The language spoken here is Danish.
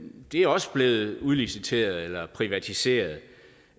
er også blevet udliciteret eller privatiseret